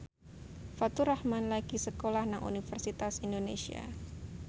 Faturrahman lagi sekolah nang Universitas Indonesia